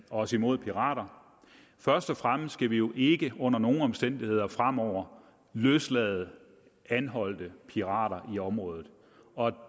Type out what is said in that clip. os imod pirater først og fremmest skal vi jo ikke under nogen omstændigheder fremover løslade anholdte pirater i området